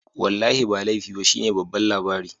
Wallahi ba laifi ba shine babban labari